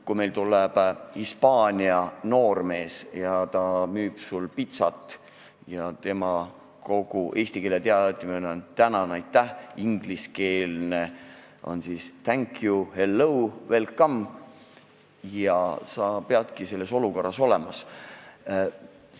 Kui siia tuleb Hispaania noormees ja müüb pitsat ning kogu tema eesti keele oskus on "tänan" ja "aitäh", inglise keeles oskab ta öelda thank you, hello ja welcome, siis peab selles olukorras hakkama saama.